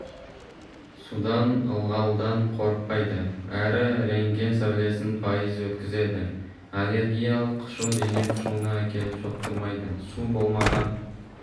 судан ылғалдан қорықпайды әрі рентген сәулесін пайыз өткізеді аллергиялық қышу дене қышуына әкеліп соқтырмайды су болмаған